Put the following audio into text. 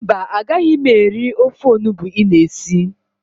Mba, agaghị m eri ofe onubu ị na esi.